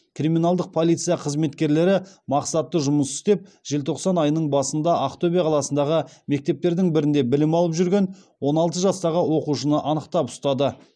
криминалдық полиция қызметкерлері мақсатты жұмыс істеп желтоқсан айының басында ақтөбе қаласындағы мектептердің бірінде білім алып жүрген он алты жастағы оқушыны анықтап ұстады